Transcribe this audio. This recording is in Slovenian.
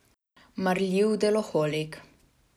Marljiv deloholik.